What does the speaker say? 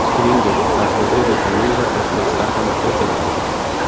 Shuningdek, parhezga vitamin va komplekslar ham kiritiladi.